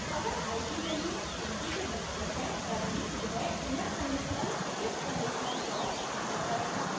अगर i की value 20 के बराबर है तभी यह inner conditional if conditional block enter करेगा